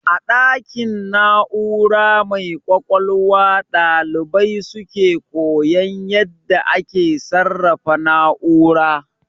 A ɗakin na'ura mai ƙwaƙwalwa ɗalibai suke koyan yadda ake sarrafa na'ura